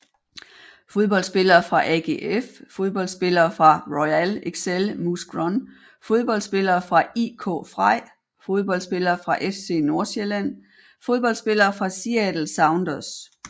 Fodboldspillere fra AGF Fodboldspillere fra Royal Excel Mouscron Fodboldspillere fra IK Frej Fodboldspillere fra FC Nordsjælland Fodboldspillere fra Seattle Sounders